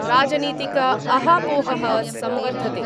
राजनीतिकअहापोह: संवर्धते।